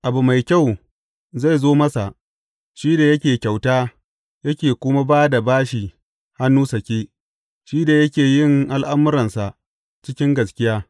Abu mai kyau zai zo masa shi da yake kyauta yake kuma ba da bashi hannu sake, shi da yake yin al’amuransa cikin gaskiya.